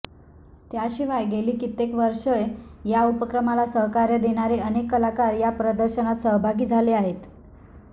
त्याशिवाय गेली कित्येक वष्रे या उपक्रमाला सहकार्य देणारे अनेक कलाकार या प्रदर्शनात सहभागी झाले आहेत